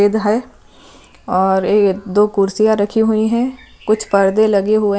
गीध है और एक दो कुर्सिय रखी हुई है कुछ परदे लगे हुए है।